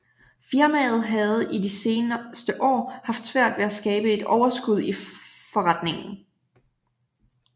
Firmaet havde i de seneste år haft svært ved at skabe et overskud i foretningen